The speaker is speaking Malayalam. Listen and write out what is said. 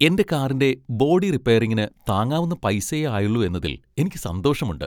എന്റെ കാറിന്റെ ബോഡി റിപ്പയറിങ്ങിന് താങ്ങാനാവുന്ന പൈസയെ ആയുള്ളൂ എന്നതിൽ എനിക്ക് സന്തോഷമുണ്ട്.